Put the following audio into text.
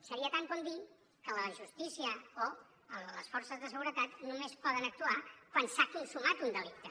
seria tant com dir que la justícia o les forces de seguretat només poden actuar quan s’ha consumat un delicte